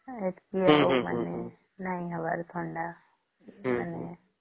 ସେତକୀ ଆଉ ନାଇଁ ହବର ଆଉ ଥଣ୍ଡା ହମ୍ମ ହମ୍ମ ହମ୍ମ